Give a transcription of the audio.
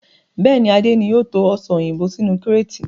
Bẹ́ẹ̀ni, Adé ni o to Ọsàn òyìnbó sínú kíreetì.